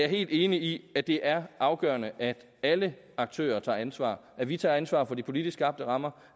helt enig i at det er afgørende at alle aktører tager ansvar at vi tager ansvar for de politisk skabte rammer